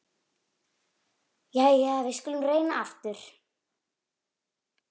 Jæja, við skulum reyna aftur.